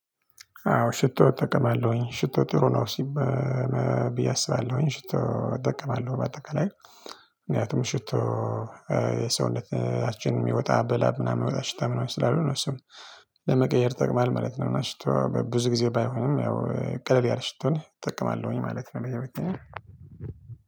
አዎ ሽቶ እጠቀማለሁኝ ሽቶ ጥሩ ነው። ሲበ ብዬ አስባለሁኝ ሽቶ እጠቀማለሁ በአጠቃላይ ምክንያቱም ሽቶ የሰውነታችን የሚወጣ በላብ ምናምን የሚወጣ ሽታ ምናምን ስላለው እነሱን ለመቀየር ይጠቅማለህ ማለት ነው። እና ሽቶ ብዙ ጊዜ ባይሆንም ያው ቀለል ያለ ሽቶኝ እጠቅማለሁኝ ማለት ነው። በህይወቴ